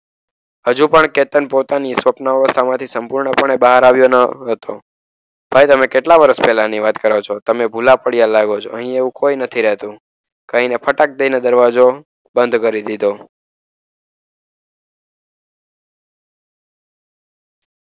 હજુ પણ કેતન પોતાની સ્વપ્ન અવસ્થા માંથી સંપૂર્ણપણે બહારે આવ્યો ન હતો. ભાઈ તમે કેટલા વર્ષ પહેલાની વાત કરો છો? તમે ભુલા પડ્યા લાગો છો. અહીંયા એવું કોઈ નથી રહેતું કહીને, ફટાક દઈને દરવાજો બંધ કરી દીધો.